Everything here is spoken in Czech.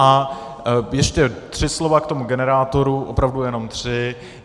A ještě tři slova k tomu generátoru, opravdu jenom tři.